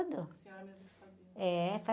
A senhora mesmo fazia?.